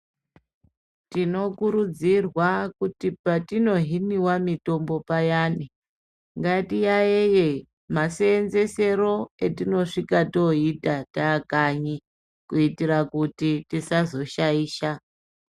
Tinokurudzirwa kuti patino hiniwa mitombo payani ngatiyayeye maseenzesero etinosvika toita taakanyi kuitire kuti tisazoshaisha.